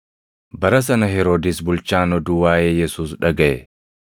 Bara sana Heroodis bulchaan oduu waaʼee Yesuus dhagaʼe;